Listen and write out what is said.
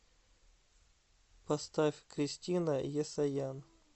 поставь кристина есаян